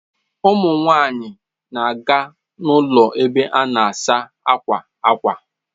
Ụmụ nwanyị na-aga n'ụlọ ebe a na-asa akwa ákwà.